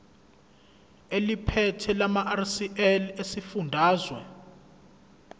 eliphethe lamarcl esifundazwe